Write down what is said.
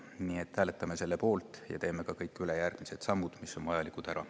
Nii et hääletame selle poolt ja teeme ära ka kõik järgmised sammud, mis on vajalikud teha.